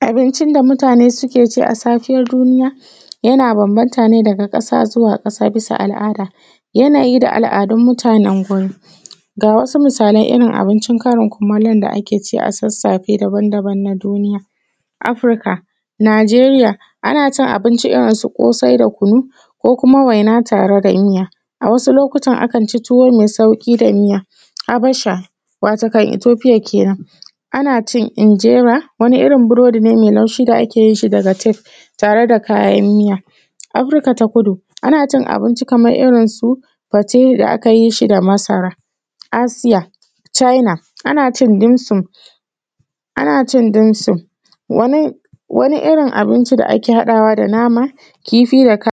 Abincin da mutane suke ci a safiyar duniya, yana bambanta ne daga ƙasa zuwa ƙasa bisa al’ada. Yanayı da al’adun mutanen guri. Ga wasu misalan irin abincin karin kumalon da ake ci a sassafe dabam-daban na duniya. Afrika, nijeriya:ana cin abinci irin su ƙosai da kunu ko kuma waina tare da miya, a wasu lokutan akan ci tuwo mai sauƙi da miya. Habasha wato kan (etofiya) kenen, ana cin injera, wani irin burodi ne mai laushi da ake yin shi daga tef, tare da kayan miya. Afrika ta kudu: Ana cin abinci kaman irin su fate da aka yi shi da masara. Asıya, Caina: ana cin dimsin, ana cin dimsin, wani irin abinci da ake haɗawa da nama, kifi, da ka.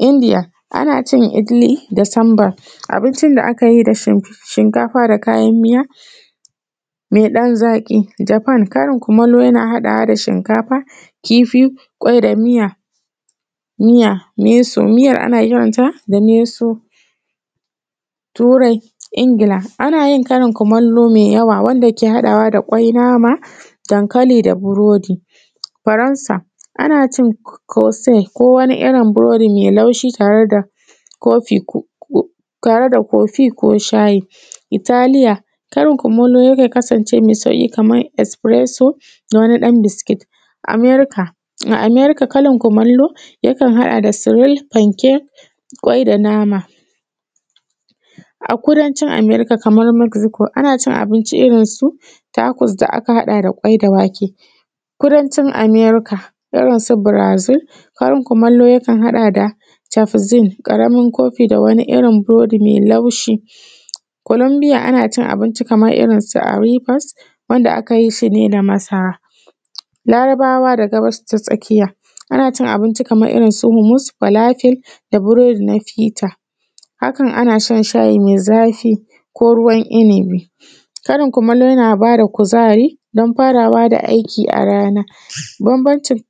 Indiya: Ana cin igili da sambar, abincin da akayi da shinkafa da kayan miya, me ɗan zaki. Jafan: karin kumalo yana haɗawa da shinkafa, kifi, kwai da miya, miyar ana kiranta da (miyo suf ) Turai( ingila): Ana yin karin kumalo mai yawa wanda ke haɗawa kwai, nama, dankali da burodi. Faransa: Ana cin kosi, ko wani irin burodi mai laushi tare da kofi ko shayi. Italiya: Karin kumalo yakan kasance mai sauƙi kaman esfireso da wani dan biskit. Amerika: a Amerika karin kumalo yakan haɗa da siwit, fanke, kwai da nama. A kudancin Amerika kamar marziko ana cin abinci irin su takus da aka haɗa da kwai da wake, kudancin Amerika irin su Birazil, karin kumalo yakan haɗa da cafzin ƙaramın kofi da wani irin burodi mai laushi. Kulambiya: Ana cin abinci kaman irinsu arifas, wanda aka yi shi ne da masara. Larabawa da gabas ta tsakiya: Ana cin abinci kaman irinsu humus walafil da burodi nafita, hakan ana shan shayi mai zafi ko ruwan inabi. Karin kumalo yana bada kuzari don farawa da aiki a rana. Bambancin.